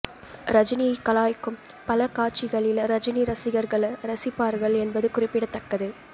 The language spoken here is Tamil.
ரஜினியை கலாய்க்கும் பல காட்சிகளில் ரஜினி ரசிகர்கள் ரசிப்பார்கள் என்பது குறிப்பிடத்தக்கது